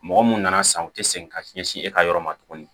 Mɔgɔ mun nana san u tɛ segin ka sin e ka yɔrɔ ma tugun